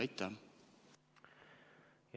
Aitäh!